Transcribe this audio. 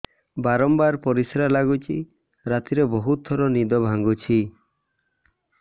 ବାରମ୍ବାର ପରିଶ୍ରା ଲାଗୁଚି ରାତିରେ ବହୁତ ଥର ନିଦ ଭାଙ୍ଗୁଛି